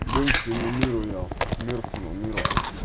дым всему миру я мир всему миру